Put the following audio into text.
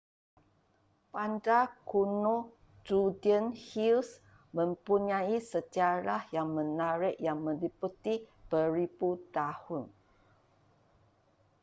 bandar kuno judean hills mempunyai sejarah yang menarik yang meliputi beribu tahun